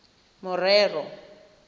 morero